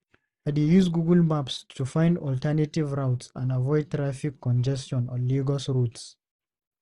I dey use Google Maps to find alternative routes and avoid traffic congestion on Lagos roads.